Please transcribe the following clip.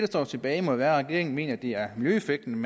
står tilbage må jo være at regeringen mener at det er miljøeffekten